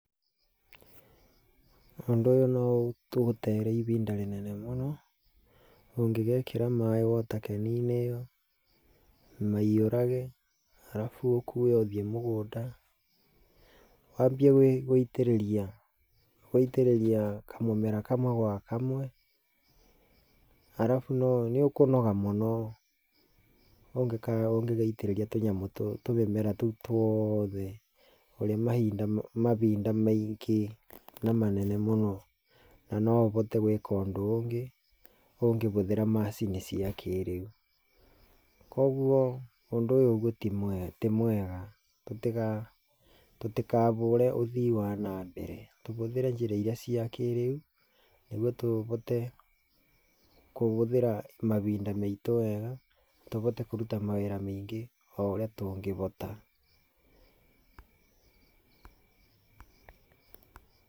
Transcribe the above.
Ũndũ ũyũ no ũgũteere ibinda rĩnene mũno, ũngĩgekĩra maaĩ water can -inĩ ĩyo maiyũrage, arabu ũkuue ũthiĩ mũgũnda, wambie gũitĩrĩria kamũmera kamwe gwa kamwe, arabu nĩ ũkũnoga mũno, ũngĩgaitĩrĩria tũmĩmera tũu tuothe, ũrĩe mabinda maingĩ na manene mũno. Na no ũbote gwĩka ũndũ ũngĩ ũngĩhũthĩra macini cia kĩrĩu. Koguo ũndũ ũyũ ti mwega. Tũtikabũre ũthii wa na mbere. Tũbũthĩre njĩra irĩa cia kĩrĩu, nĩguo tũbote kũhũthĩra mabinda maitũ wega, tũbote kũruta mawĩra mĩingĩ o ũrĩa tũngĩbota.